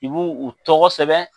I bɛ u tɔgɔ sɛbɛn